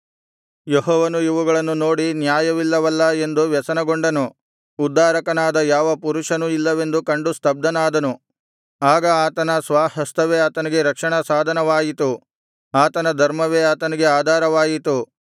ಯೆಹೋವನು ಇವುಗಳನ್ನು ನೋಡಿ ನ್ಯಾಯವಿಲ್ಲವಲ್ಲಾ ಎಂದು ವ್ಯಸನಗೊಂಡನು ಉದ್ಧಾರಕನಾದ ಯಾವ ಪುರುಷನೂ ಇಲ್ಲವೆಂದು ಕಂಡು ಸ್ತಬ್ಧನಾದನು ಆಗ ಆತನ ಸ್ವಹಸ್ತವೇ ಆತನಿಗೆ ರಕ್ಷಣಾ ಸಾಧನವಾಯಿತು ಆತನ ಧರ್ಮವೇ ಆತನಿಗೆ ಆಧಾರವಾಯಿತು